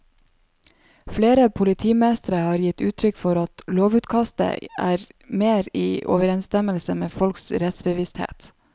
Flere politimestre har gitt uttrykk for at lovutkastet er mer i overensstemmelse med folks rettsbevissthet.